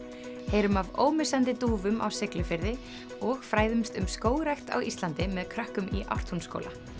heyrum af ómissandi dúfum á Siglufirði og fræðumst um skógrækt á Íslandi með krökkum í Ártúnsskóla